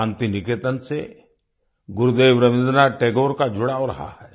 शान्तिनिकेतन से गुरुदेव रवीन्द्रनाथ टैगोर का जुड़ाव रहा है